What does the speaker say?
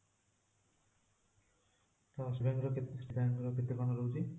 ତ SBI ର କେତେ state bank ର କେତେ କଣ ରହୁଛି?